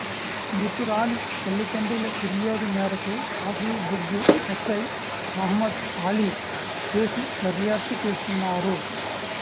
మృతురాలి తల్లిదండ్రుల ఫిర్యాదు మేరకు కాశీబుగ్గ ఎస్ఐ మహమ్మద్ఆలీ కేసు దర్యాప్తు చేస్తున్నారు